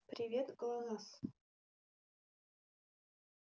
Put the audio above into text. привет глонассс